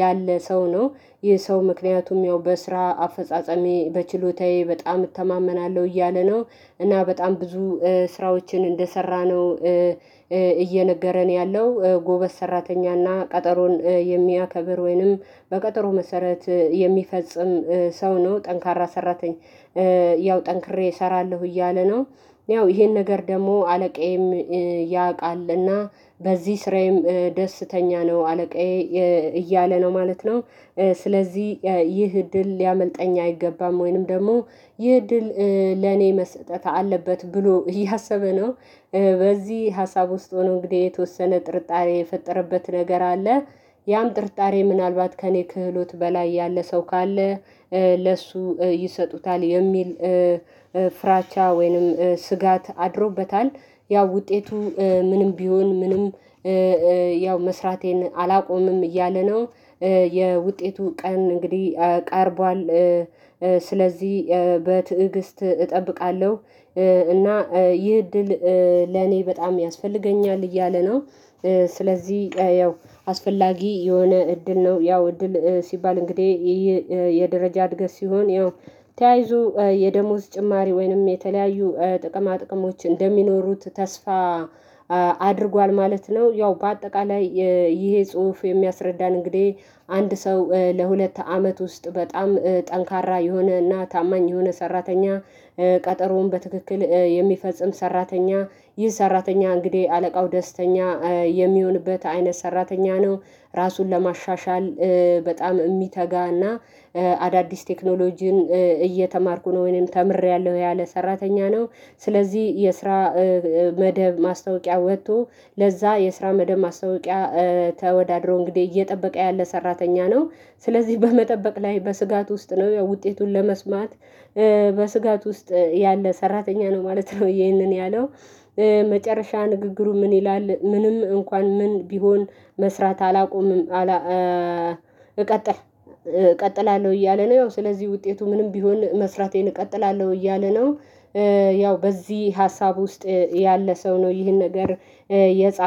ያለ ሰው ነው። ይህ ሰው ምክንያቱም ያው በስራ አፈጻጸሜ በችሎታዬ በጣም እተማመናለሁ እያለ ነው። እና በጣም ብዙ ስራዎችን እንደሰራነው፤ እየነገረን ያለው ጎበዝ ሰራተኛና ቀጠሮን የሚያከብር ወይንም በቀጠሮ መሰረት የሚፈጽም ሰው ነው፤ ጠንካራ ሰራተኛ ያው ጠንክሬ እሰራለሁ እያለ ነው። ያው ይሄን ነገር ደግሞ አለቃዬም ያውቃልና በዚህ ስራዬም ደስተኛ ነው አለቃዬ። እያለ ነው ማለት ነው ስለዚህ ይህ እድል ሊያመልጠኝ አይገባም። ወይንም ደግሞ ይህ ድል ለኔ መስጠት አለበት ብሎ እያሰበ ነው። በዚህ ሀሳብ ውስጥ ሆኖ እንግዲህ የተወሰነ ጥርጣሬ የፈጠረበት ነገር አለ። ያም ጥርጣሬ ምናልባት ከእኔ ክህሎት በላይ ያለ ሰው ካለ ለእሱ ይሰጡታል የሚል ፍራቻ ወይንም ስጋት አድሮበታል። ያው ውጤቱ ምንም ቢሆን ምንም ያው መስራቴን አላቆምም እያለ ነው። የውጤቱ ቀን እንግዲህ ቀርቧል ስለዚህ በትዕግስት እጠብቃለሁ እና ይህ እድል ለኔ በጣም ያስፈልገኛል እያለ ነው። ስለዚህ ያው አስፈላጊ የሆነ እድል ነው። ያው እድል ሲባል እንግዲህ የደረጃ እድገት ሲሆን ያው ተያይዞ የደሞዝ ጭማሪ ወይንም የተለያዩ ጥቅማ ጥቅሞች እንደሚኖሩት ተስፋ አድርጓል ማለት ነው። ያው በአጠቃላይ ይሄ ጽሁፍ የሚያስረዳን እንግዲህ አንድ ሰው ለሁለት አመት ውስጥ በጣም ጠንካራ የሆነና ታማኝ የሆነ ሰራተኛ ቀጠሮውን በትክክል የሚፈጽም ሰራተኛ ይህ ሰራተኛ እንግዲህ አለቃው ደስተኛ የሚሆንበት አይነት ሰራተኛ ነው። ራሱን ለማሻሻል በጣም የሚተጋና አዳዲስ ቴክኖሎጂን እየተማርኩ ነው ወይንም ተምሬያለሁ ያለ ሰራተኛ ነው። ስለዚህ የስራ መደብ ማስታወቂያ ወጥቶ ለዛ የስራ መደብ ማስታወቂያ ተወዳድሮ እንግዲህ እየጠበቀ ያለ ሰራተኛ ነው። ስለዚህ በመጠበቅ ላይ በስጋት ውስጥ ነው ያው ውጤቱን ለመስማት በስጋት ውስጥ ያለ ሰራተኛ ነው ማለት ነው ይህንን ያለው። መጨረሻ ንግግሩ ምን ይላል ምንም እንኳን ምን ቢሆን መስራት አላቆምም። እቀጥላለሁ እያለ ነው ያው ስለዚህ ውጤቱ ምንም ቢሆን መስራቴን እቀጥላለሁ እያለ ነው። ያው በዚህ ሀሳብ ውስጥ ያለ ሰው ነው ይህን ነገር የጻፈ።